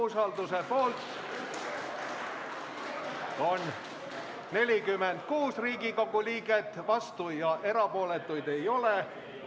Umbusalduse avaldamise poolt on 46 Riigikogu liiget, vastuolijaid ja erapooletuid ei ole.